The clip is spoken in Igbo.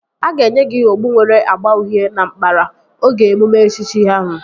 A ga-enye gị okpu nwere agba uhie na nkpara oge emume echichi ahụ